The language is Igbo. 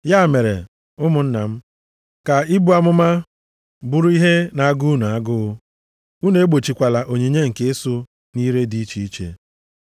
Ya mere, ụmụnna m, ka ibu amụma bụrụ ihe na-agụ unu agụụ, unu egbochikwala onyinye nke ịsụ nʼire dị iche iche.